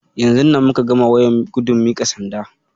Yanzun nan muka gama wayan gudun miƙa sanda.